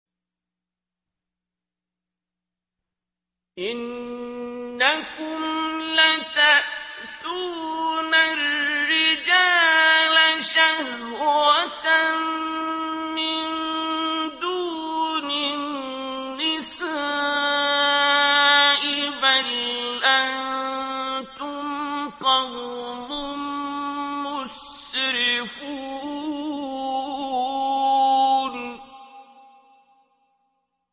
إِنَّكُمْ لَتَأْتُونَ الرِّجَالَ شَهْوَةً مِّن دُونِ النِّسَاءِ ۚ بَلْ أَنتُمْ قَوْمٌ مُّسْرِفُونَ